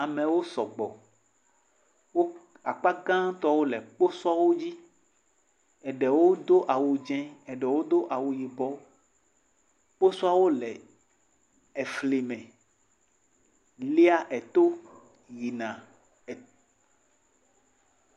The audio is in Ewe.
Amewo sɔgbɔ, woakpa gãtɔwo le kposɔwo dzi, eɖewo do awu dzɛ eɖewo do awu yibɔ, kposɔawo le efli me, lia eto yina e.